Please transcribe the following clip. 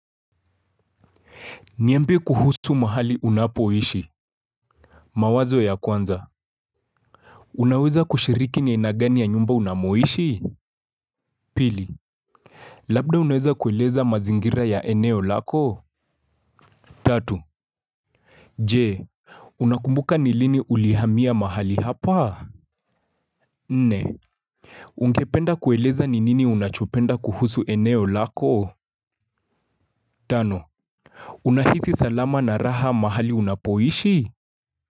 Niambie kuhusu mahali unapoishi. Mawazo ya kwanza unaweza kushiriki ni aina gani ya nyumba unamoishi. Pili labda unaweza kueleza mazingira ya eneo lako. Tatu je unakumbuka ni lini ulihamia mahali hapa. Nne ungependa kueleza ni nini unachopenda kuhusu eneo lako. Tano unahisi salama na raha mahali unapoishi.